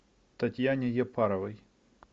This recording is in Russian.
татьяне яппаровой